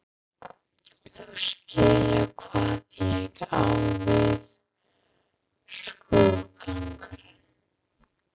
Þú skilur hvað ég á við: skrúðgangan